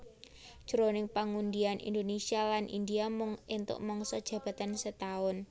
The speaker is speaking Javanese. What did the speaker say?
Jroning pangundian Indonesia lan India mung éntuk mangsa jabatan setaun